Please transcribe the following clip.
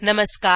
नमस्कार